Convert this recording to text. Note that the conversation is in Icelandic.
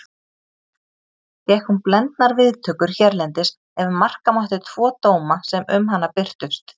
Fékk hún blendnar viðtökur hérlendis ef marka mátti tvo dóma sem um hana birtust.